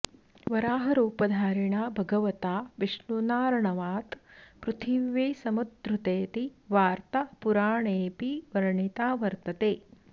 वराहरुपधारिणा भगवता विष्णुनाऽर्णवात् पृथिवी समुद्धृतेति वार्त्ता पुराणेऽपि वर्णिता वर्त्तते